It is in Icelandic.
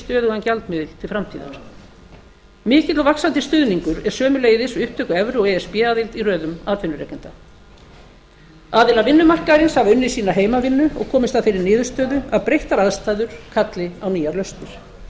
stöðugan gjaldmiðil til framtíðar mikill og vaxandi stuðningur er sömuleiðis við upptöku evru og e s b aðild í röðum atvinnurekenda aðilar vinnumarkaðarins hafa unnið sína heimavinnu og komist að þeirri niðurstöðu að breyttar aðstæður kalli á nýjar lausnir